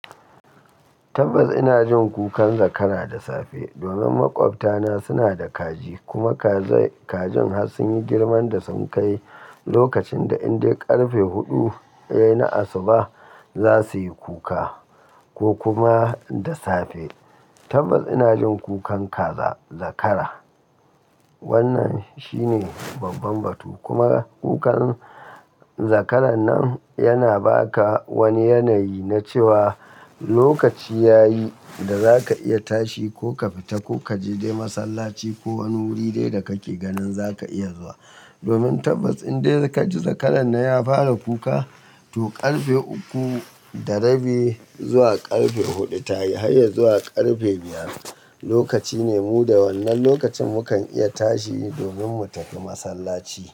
Tabbas ina jin kukan zakara da safe. Domin maƙwabta na suna da kaji kuma kajin har sun yi girman da sun kai. Lokacin da in dai ƙarfe huɗu yayi na asuba za su yi kuka, ko kuma da safe. Tabbas ina jin kukan kaza zakara. Wannan shi ne babban batu. Kuma kukan zakaran nan yana ba ka wani yanayi na cewa lokaci ya yi da za ka iya tashi ko ka fita ko ka je dai masallaci ko wani wuri dai da ka ke ganin za ka iya zuwa. Domin tabbas in dai ka ji zakaran nan ya fara kuka, to ƙarfe uku da rabi zuwa ƙarfe huɗu ta yi har ya zuwa ƙarfe biyar, lokaci ne mu da wannan lokacin mu kan iya tashi domin mu tafi masallaci.